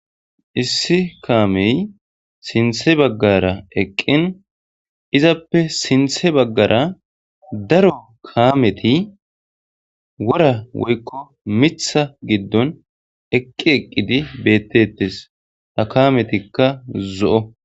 Issi kaamey sinthe baggara eqqin izappe sinthe baggara daro kaameti wora woykko mitha giddon eqqi eqqidi beettettes ha kametikka zo'o.